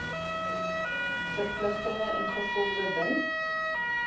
verpligtinge ingevolge bin